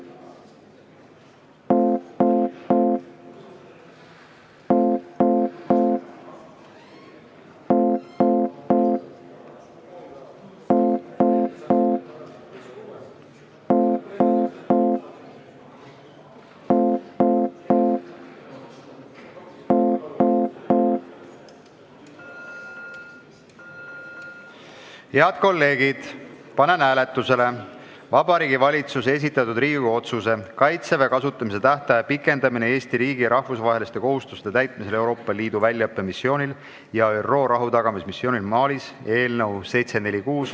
Head kolleegid, panen hääletusele Vabariigi Valitsuse esitatud Riigikogu otsuse "Kaitseväe kasutamise tähtaja pikendamine Eesti riigi rahvusvaheliste kohustuste täitmisel Euroopa Liidu väljaõppemissioonil ja ÜRO rahutagamismissioonil Malis" eelnõu .